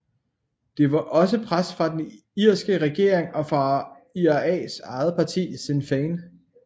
Der var også pres fra den irske regering og fra IRAs eget parti Sinn Féin